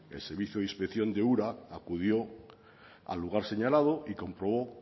el servicio de inspección de ura acudió al lugar señalado y comprobó